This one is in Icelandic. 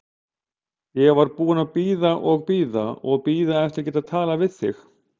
Ég var búin að bíða og bíða og bíða eftir að geta talað við þig.